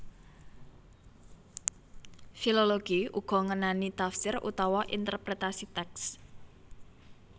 Filologi uga ngenani tafsir utawa interpretasi tèks